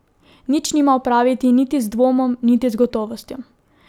Nič nima opraviti niti z dvomom niti z gotovostjo.